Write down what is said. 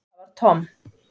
Það var Tom.